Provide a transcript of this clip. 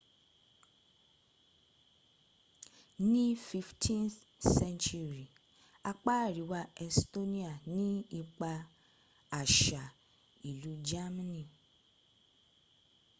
ní 15th century apá àríwá estonia ní ipa àṣà ìlú germany